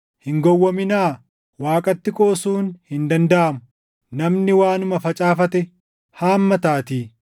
Hin gowwoominaa; Waaqaatti qoosuun hin dandaʼamu. Namni waanuma facaafate haammataatii.